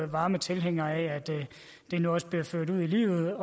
varme tilhængere af at det nu også bliver ført ud i livet